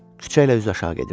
Küçəyə üzü aşağı gedirdim.